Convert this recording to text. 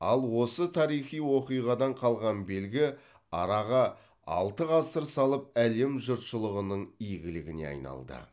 ал осы тарихи оқиғадан қалған белгі араға алты ғасыр салып әлем жұртшылығының игілігіне айналды